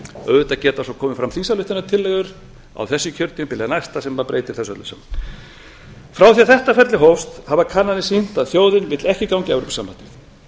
auðvitað geta svo komið fram þingsályktunartillögur á þessu kjörtímabili eða næsta sem breytir þessu öllu saman frá því að þetta ferli hófst hafa kannanir sýnt að þjóðin vill ekki ganga í evrópusambandið